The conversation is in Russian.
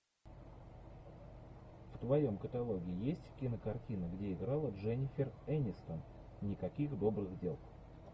в твоем каталоге есть кинокартина где играла дженнифер энистон никаких добрых дел